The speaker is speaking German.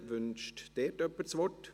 Wünscht hier jemand das Wort?